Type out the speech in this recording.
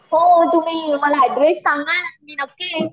हो तुम्ही मला ऍड्रेस सांगा मी नक्कीच येईन.